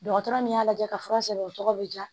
Dɔgɔtɔrɔ min y'a lajɛ ka fura sɛbɛn o tɔgɔ bɛ diya